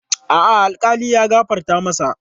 A'a, alkali ya gafarta masa.